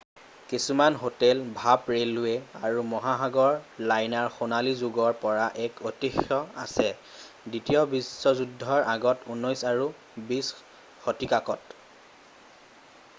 কিছুমান হোটেল ভাপ ৰে'লৱে আৰু মহাসাগৰ লাইনাৰৰ সোণালী যোগৰ পৰা এক ঐতিহ্য আছে; দ্বিতীয় বিশ্বযুদ্ধৰ আগত 19 আৰু 20 শতিকাত৷